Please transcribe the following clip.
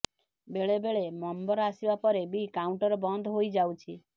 ବେଳେ ବେଳେ ନମ୍ବର ଆସିବା ପରେ ବି କାଉଣ୍ଟର ବନ୍ଦ ହୋଇଯାଉଛି